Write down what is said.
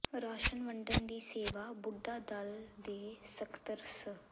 ration ਵੰਡਣ ਦੀ ਸੇਵਾ ਬੁੱਢਾ ਦਲ ਦੇ ਸਕੱਤਰ ਸ